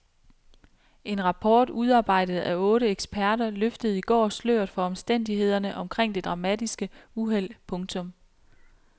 En rapport udarbejdet af otte eksperter løftede i går sløret for omstændighederne omkring det dramatiske uheld. punktum